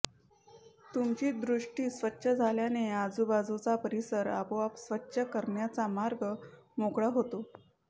तुमची दृष्टी स्वच्छ झाल्याने आजूबाजूचा परिसर आपोआप स्वच्छ करण्याचा मार्ग मोकळा होतो